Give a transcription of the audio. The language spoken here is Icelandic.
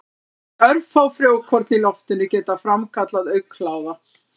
Aðeins örfá frjókorn í loftinu geta framkallað augnkláða.